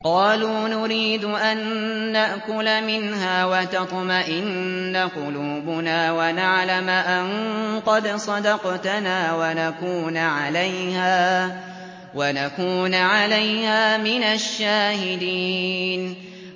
قَالُوا نُرِيدُ أَن نَّأْكُلَ مِنْهَا وَتَطْمَئِنَّ قُلُوبُنَا وَنَعْلَمَ أَن قَدْ صَدَقْتَنَا وَنَكُونَ عَلَيْهَا مِنَ الشَّاهِدِينَ